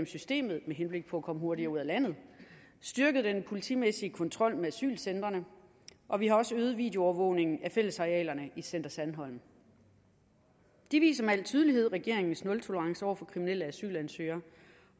systemet med henblik på at komme hurtigere ud af landet styrket den politimæssige kontrol med asylcentrene og vi har også øget videoovervågningen af fællesarealerne i center sandholm det viser med al tydelighed regeringens nultolerance over for kriminelle asylansøgere